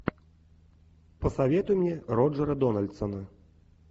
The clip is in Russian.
посоветуй мне роджера дональдсона